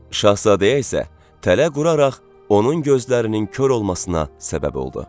Şahzadəyə isə tələ quraraq onun gözlərinin kor olmasına səbəb oldu.